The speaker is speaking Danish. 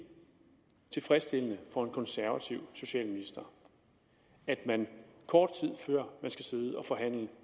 tilfredsstillende for en konservativ socialminister at man kort tid før man skal sidde og forhandle